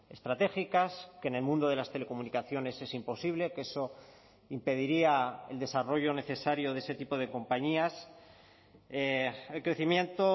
estratégicas que en el mundo de las telecomunicaciones es imposible que eso impediría el desarrollo necesario de ese tipo de compañías el crecimiento